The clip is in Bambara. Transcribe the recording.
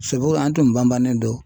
an tun banbannen don.